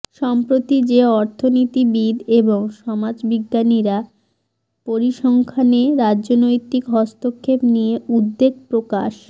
সম্প্রতি যে অর্থনীতিবিদ এবং সমাজ বিজ্ঞানীরা পরিসংখ্যানে রাজনৈতিক হস্তক্ষেপ নিয়ে উদ্বেগ প্রকাশ